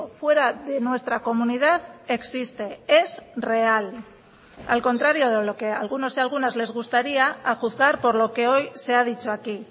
fuera de nuestra comunidad existe es real al contrario de lo que algunos y algunas les gustaría a juzgar por lo que hoy se ha dicho aquí